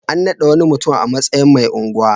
An naɗa wani mutum a matsayin mai unguwa.